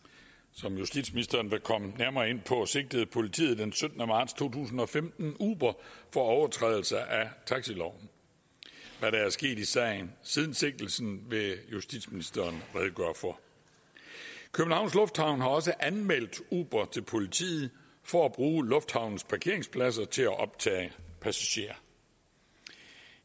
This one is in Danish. som justitsministeren vil komme nærmere ind på sigtede politiet den syttende marts to tusind og femten uber for overtrædelse af taxiloven hvad der er sket i sagen siden sigtelsen vil justitsministeren redegøre for københavns lufthavn har også anmeldt uber til politiet for at bruge lufthavnens parkeringspladser til at optage passagerer